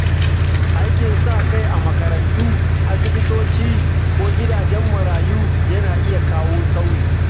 Aikin sa-kai a makarantu, asibitoci, ko gidajen marayu yana iya kawo sauyi.